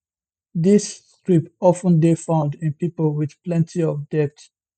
dis script of ten dey found in pipo wit plenti of debt